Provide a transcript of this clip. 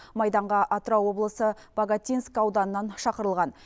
майданға атырау облысы богатинск ауданынан шақырылған